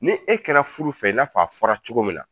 Ni e kɛra furu fɛ , i n'a fɔ a fɔra cogo min na